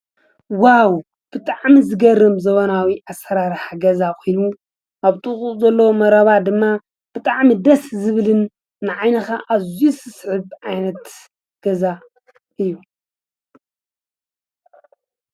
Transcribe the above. ዋው ብጣዕሚ ዝገርም ዘመናዊ ኣሰራርሓ ገዛ ኮይኑ ኣብ ጥቅኡ ዘሎ መረባ ድማ ብጣዕሚ ደስ ዝብልን ንዓይንካ ኣዝዩ ዝስሕብ ዓይነት ገዛ እዩ፡፡